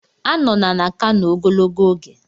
Anọla na Kano ogologo oge!